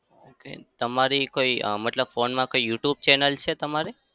તમારી કોઈ મતલબ અમ phone માં કંઈ youtube channel છે તમારે?